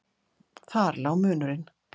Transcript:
Þar lá munurinn.